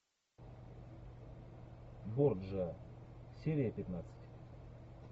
борджиа серия пятнадцать